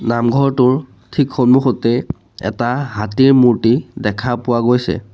নামঘৰটোৰ ঠিক সন্মুখতেই এটা হাতীৰ মূৰ্ত্তি দেখা পোৱা গৈছে।